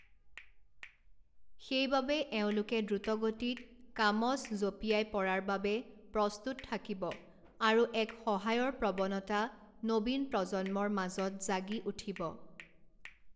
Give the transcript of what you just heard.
সেইবাবে এওঁলোকে দ্ৰুতগতিত কামচ জঁপিয়াই পড়াৰ বাবে প্ৰস্তুত থাকিব আৰু এক সহায়ৰ প্ৰৱণতা নবীন প্ৰজন্মৰ মাজত জাগি উঠিব।